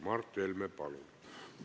Mart Helme, palun!